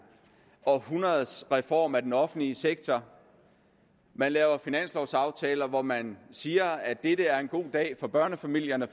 århundredes reform af den offentlige sektor laver finanslovaftaler hvor man siger at dette er en god dag for børnefamilierne